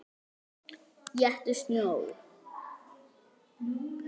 Éttu snjó.